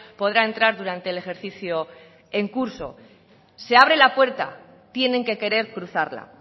podrá entrar durante el ejercicio en curso se abre la puerta tienen que querer cruzarla